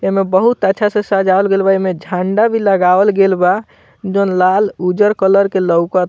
एमे बहुत अच्छा से सजावल गेल बा एमे झंडा भी लगावल गेल बा जॉन लाल उज्जर कलर के लौक --